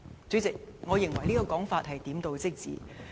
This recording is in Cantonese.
"主席，我認為這說法點到即止。